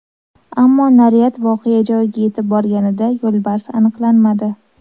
Ammo naryad voqea joyiga yetib borganida, yo‘lbars aniqlanmadi.